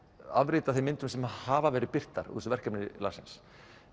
afrit af þeim myndum sem hafa verið birtar úr þessu verkefni Larsens